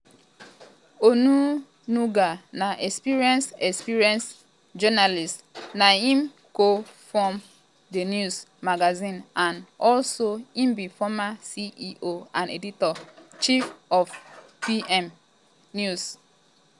onunuga na experienced um experienced um journalist na him co-form thenews magazine and also im be former ceo and editor-in-chief of pm um news.